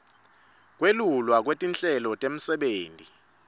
kwelulwa kwetinhlelo temisebenti